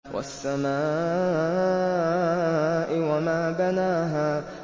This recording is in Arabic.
وَالسَّمَاءِ وَمَا بَنَاهَا